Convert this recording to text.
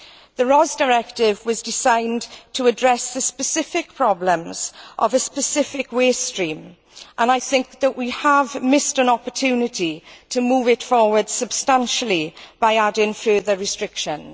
The RoHS Directive was designed to address the specific problems of a specific waste stream and I think that we have missed an opportunity to move it forward substantially by adding further restrictions.